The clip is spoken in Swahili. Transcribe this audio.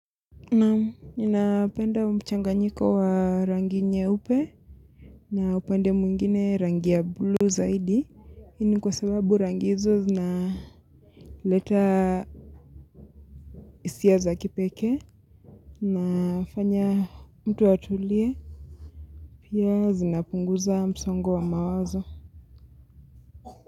Naam, ninapenda mchanganyiko wa rangi nyeupe na upande mwingine rangi ya blue zaidi. Hii ni kwa sababu rangi hizo zina leta hisia za kipekee. Nafanya mtu atulie, pia zinapunguza msongo wa mawazo.